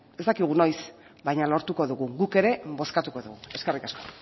ez dakigu noiz baino lortuko dugu guk ere bozkatuko dugu eskerrik asko